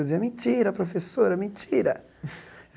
Eu dizia, mentira, professora, mentira.